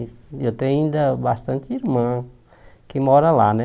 Eu tenho ainda bastante irmã que mora lá, né?